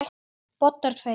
Bobbar tveir.